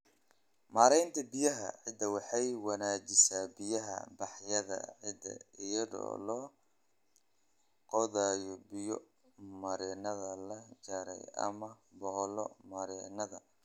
Maareynta Biyaha Ciidda Waxay wanaajisaa biya-baxyada ciidda iyadoo la qodayo biyo-mareennada la jaray ama boholo-mareennada.